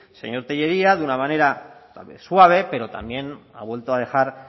señor tellería de una manera suave pero también ha vuelto a dejar